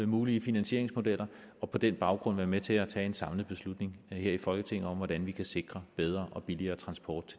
mulige finansieringsmodeller og på den baggrund være med til at tage en samlet beslutning her i folketinget om hvordan vi kan sikre bedre og billigere transport